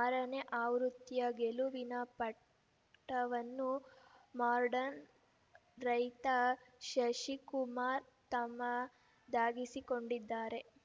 ಆರನೇ ಆವೃತ್ತಿಯ ಗೆಲುವಿನ ಪಟ್ಟವನ್ನು ಮಾಡ್ರನ್‌ ರೈತ ಶಶಿಕುಮಾರ್‌ ತಮ್ಮದಾಗಿಸಿಕೊಂಡಿದ್ದಾರೆ